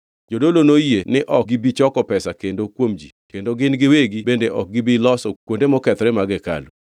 Jodolo noyie ni ok gibi choko pesa kendo kuom ji kendo gin giwegi bende ok gibi loso kuonde mokethore mag hekalu.